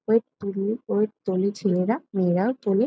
Weight তুলি weight তোলে ছেলেরা মেয়েরাও তোলে।